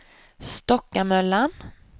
Stockamöllan